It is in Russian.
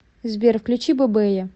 сбер включи бэбэя